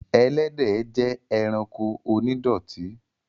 Ẹlẹ́dẹ̀ jẹ́ ẹranko onídọ̀tí